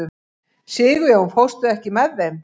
Sigurjón, ekki fórstu með þeim?